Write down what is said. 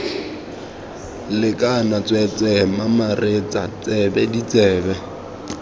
lekana tsweetswee mamaretsa tsebe ditsebe